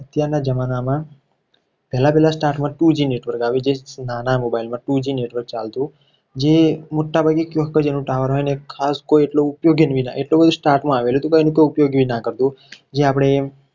જમાના માં પહેલા પહેલા starting માં two g network આવ્યું જે નાના mobile માં two g network ચાલતું જે મીઠા ભાગે ક્યાંક જ એનો tower અને ખાસ એનો કંઈ ઉપયોગ એટલું બધું start માં આવેલું હતું. પણ એનો કોઈ ઉપયોગ ના કરતું. જે આપણે